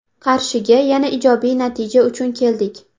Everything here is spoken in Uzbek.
Qarshiga yana ijobiy natija uchun keldik.